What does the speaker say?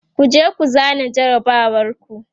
kujeku zana jarabawar ku!